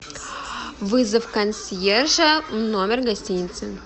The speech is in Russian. вызов консьержа в номер гостиницы